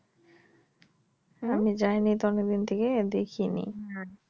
আমি যাইনি তো অনেক দিন ধরে দেখিনি